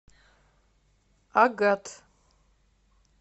агат